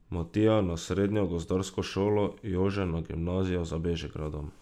Matija na srednjo gozdarsko šolo, Jože na gimnazijo za Bežigradom.